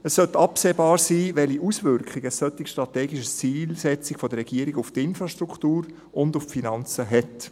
Es sollte absehbar sein, welche Auswirkungen eine solche strategische Zielsetzung der Regierung auf die Infrastruktur und auf die Finanzen hat.